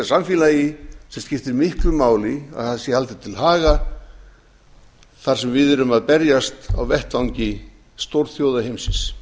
samfélagi sem skiptir miklu máli að sé haldið til haga þar sem við erum að berjast á vettvangi stórþjóða heimsins